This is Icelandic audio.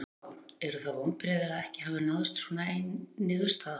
Eygló, eru það vonbrigði að ekki hafi náðst svona ein niðurstaða?